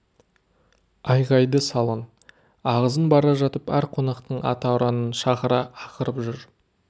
айғайды салын ағызын бара жатып әр қонақтың ата ұранын шақыра ақырып жүр